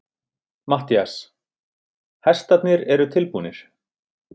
MATTHÍAS: Hestarnir eru tilbúnir.